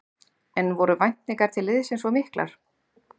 En voru væntingar til liðsins of miklar?